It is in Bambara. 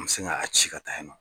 N bɛ sin ka a ci ka taa ye nɔ.